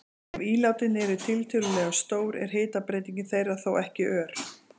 Ef ílátin eru tiltölulega stór er hitabreyting þeirra þó ekki ör.